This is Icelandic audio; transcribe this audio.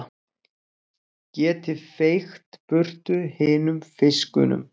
Geti feykt burtu hinum fiskunum.